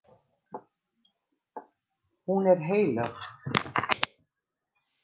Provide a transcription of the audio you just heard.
Hún er heilög.